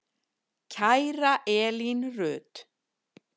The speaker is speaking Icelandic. Kæra Elín Rut.